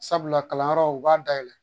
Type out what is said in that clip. Sabula kalanyɔrɔw u b'a dayɛlɛ